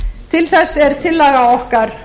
til þess er tillaga okkar